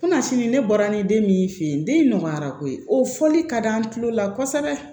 ne bɔra ni den min fe ye den nɔgɔyara koyi o fɔli ka di an tulo la kosɛbɛ